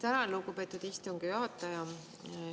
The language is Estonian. Tänan, lugupeetud istungi juhataja!